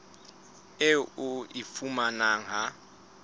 eo o e fumanang ha